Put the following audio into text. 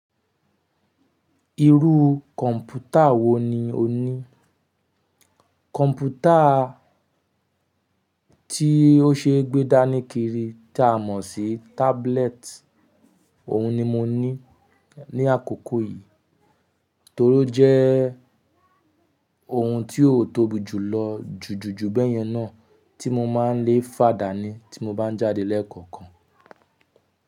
Irú kọ̀mpútà wò ní o ní? Kọ̀mpútà tí o ṣe gbé dání kiri tí a mọ̀ sí tablet òhun ni mo ní ní àkókò yìí torí ó jẹ́ ohun tí ó tóbi jùlọ jùjú ju báyẹn náà tí mo má n lè fà dání tí mo bá ń jáde lẹ́ẹ̀kọ̀kan.